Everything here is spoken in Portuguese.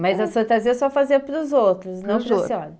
Mas as fantasias senhora fazia para os outros, não para a senhora?